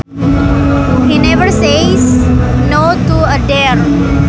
He never says No to a dare